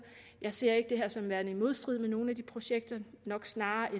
jeg ser ikke det her som værende i modstrid med nogle af de projekter nok snarere